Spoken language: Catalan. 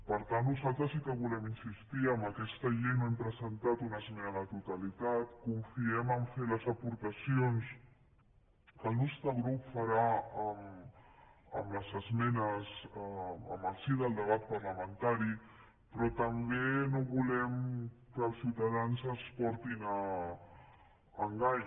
per tant nosaltres sí que hi volem insistir en aquesta llei no hem presentat una esmena a la totalitat confiem a fer les aportacions que el nostre grup farà amb les esmenes en el si del debat parlamentari però tampoc no volem que els ciutadans es portin a engany